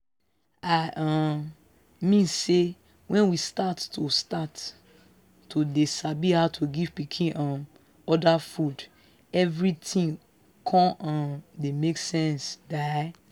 i um mean say when we start to start to dey sabi how to give pikin um other food everything con um dey make sense die.